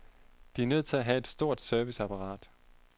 De er nødt til at have et stort serviceapparat.